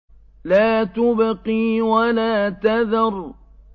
لَا تُبْقِي وَلَا تَذَرُ